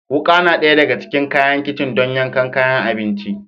Wuka na ɗaya daga cikin kayan kicin don yankan kayan abinci